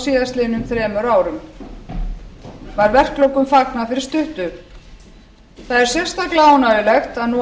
síðastliðnum þremur árum var verkalokum fagnað fyrir stuttu það er sérstaklega ánægjulegt að nú hafa